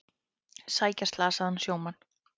Sækja slasaðan sjómann